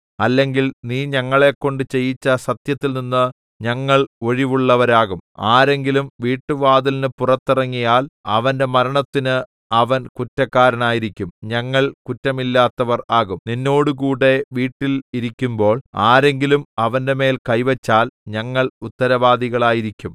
അല്ലെങ്കിൽ നീ ഞങ്ങളെക്കൊണ്ട് ചെയ്യിച്ച സത്യത്തിൽനിന്ന് ഞങ്ങൾ ഒഴിവുള്ളവരാകും ആരെങ്കിലും വീട്ടുവാതിലിന് പുറത്തിറങ്ങിയാൽ അവന്റെ മരണത്തിന് അവൻ കുറ്റക്കാരനായിരിക്കും ഞങ്ങൾ കുറ്റമില്ലാത്തവർ ആകും നിന്നോടുകൂടെ വീട്ടിൽ ഇരിക്കുമ്പോൾ ആരെങ്കിലും അവന്റെമേൽ കൈവച്ചാൽ ഞങ്ങൾ ഉത്തരവാദികളായിരിക്കും